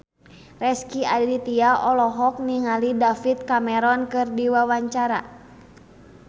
Rezky Aditya olohok ningali David Cameron keur diwawancara